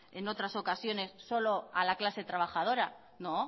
en otras ocasiones solo a la clase trabajadora no